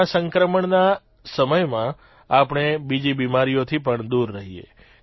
corona સંક્રમણના સમયમાં આપણે બીજી બીમારીઓથી પણ દૂર રહીએ